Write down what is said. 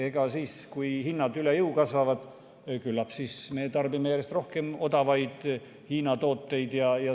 Kui hinnad kasvavad üle jõu käivaks, küllap me siis tarbime järjest rohkem odavaid Hiina tooteid.